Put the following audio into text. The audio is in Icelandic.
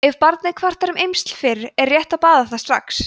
ef barnið kvartar um eymsli fyrr er rétt að baða það strax